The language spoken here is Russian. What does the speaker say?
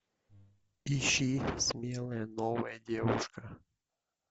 ищи смелая новая девушка